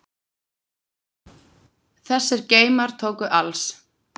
Þessir geymar tóku alls